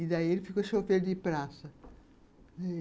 E daí ele ficou chofer de praça.